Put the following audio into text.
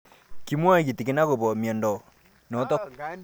Kimwae kitig'in akopo miondo notok